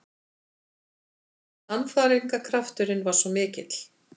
Sannfæringarkrafturinn var svo mikill.